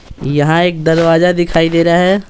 यहाँ एक दरवाजा दिखाई दे रहा है।